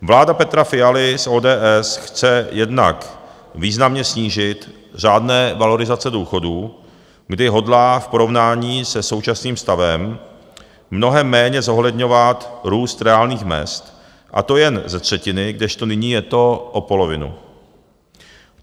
Vláda Petra Fialy z ODS chce jednak významně snížit řádné valorizace důchodů, kdy hodlá v porovnání se současným stavem mnohem méně zohledňovat růst reálných mezd, a to jen ze třetiny, kdežto nyní je to o polovinu.